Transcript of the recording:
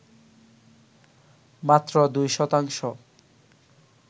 মাত্র ২ শতাংশ